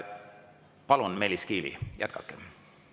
Palun, Meelis Kiili, jätkake!